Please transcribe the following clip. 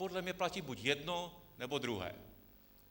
Podle mě platí buď jedno, nebo druhé.